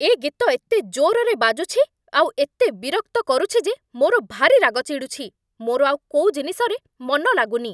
ଏ ଗୀତ ଏତେ ଜୋର୍‌ରେ ବାଜୁଛି ଆଉ ଏତେ ବିରକ୍ତ କରୁଛି ଯେ ମୋର ଭାରି ରାଗ ଚିଡ଼ୁଛି । ମୋର ଆଉ କୋଉ ଜିନିଷରେ ମନ ଲାଗୁନି ।